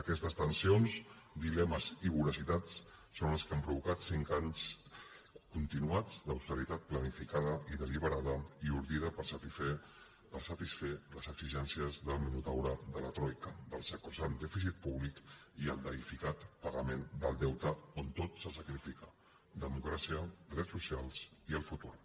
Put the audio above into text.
aquestes tensions dilemes i voracitats són les que han provocat cinc anys continuats d’austeritat planificada i deliberada i ordida per satisfer les exigències del minotaure de la troica dels sacrosant dèficit públic i el deïficat pagament del deute on tot se sacrifica democràcia drets socials i el futur